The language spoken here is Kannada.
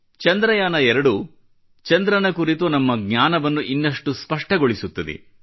ಚಂದ್ರಯಾನ 2 ಚಂದ್ರನ ಕುರಿತು ನಮ್ಮ ಜ್ಞಾನವನ್ನು ಇನ್ನಷ್ಟು ಸ್ಪಷ್ಟಗೊಳಿಸುತ್ತದೆ